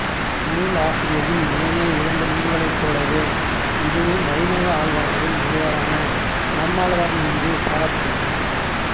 நூலாசிரியரின் ஏனைய இரண்டு நூல்களைப் போலவே இதுவும் வைணவ ஆழ்வார்களில் ஒருவராகிய நம்மாழ்வார் மீது பாடப்பட்டது